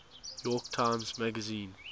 york times magazine